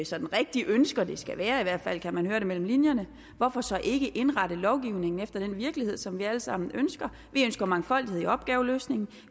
sådan rigtig ønsker at det skal være i hvert fald kan man høre det mellem linjerne hvorfor så ikke indrette lovgivningen efter den virkelighed som vi alle sammen ønsker vi ønsker mangfoldighed i opgaveløsningen